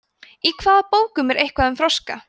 í hvaða bókum er eitthvað um froska